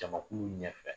Jamakulu ɲɛfɛ